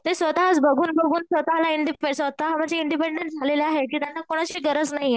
ते स्वतःच बघून बघून स्वतःला म्हणजे स्वतःला इंडिपेंडेंट झालेले आहेत की त्यांना कोणाची गरज नाहीये.